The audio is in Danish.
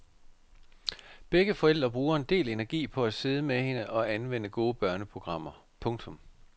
Begge forældre bruger en del energi på at sidde med hende og anvende gode børneprogrammer. punktum